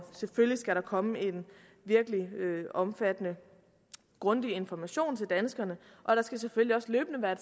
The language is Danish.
selvfølgelig skal der komme en virkelig omfattende grundig information til danskerne og der skal selvfølgelig også løbende være